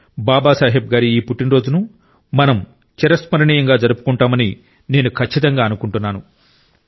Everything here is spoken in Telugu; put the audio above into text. బాబా సాహెబ్ గారి ఈ పుట్టినరోజును మనం చిరస్మరణీయంగా జరుపుకుంటామని నేను ఖచ్చితంగా అనుకుంటున్నాను